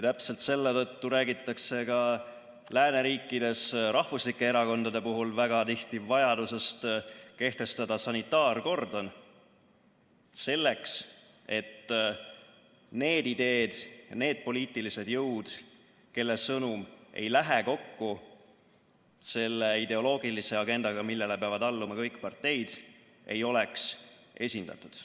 Täpselt selle tõttu räägitakse ka lääneriikides rahvuslike erakondade puhul väga tihti vajadusest kehtestada sanitaarkordon, selleks et need ideed, need poliitilised jõud, kelle sõnum ei lähe kokku selle ideoloogilise agendaga, millele peavad alluma kõik parteid, ei oleks esindatud.